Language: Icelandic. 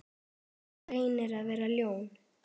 Reynir að vera ljón.